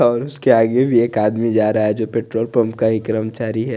और उसके आगे भी एक आदमी जारा है जो पेट्रोल पंप का ही कर्मचारी है।